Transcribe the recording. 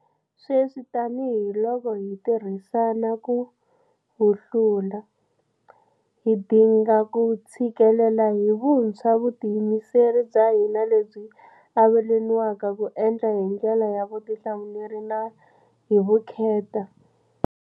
Sweswi tanihiloko hi tirhisana ku wu hlula, hi dinga ku tshikelela hi vuntshwa vutiyimiseri bya hina lebyi avelaniwaka ku endla hi ndlela ya vutihlamuleri na hi vukheta.